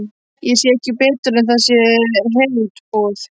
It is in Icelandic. Ég sé ekki betur en það sé herútboð.